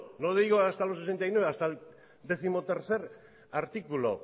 no le digo hasta los sesenta y nueve hasta el décimotercer artículo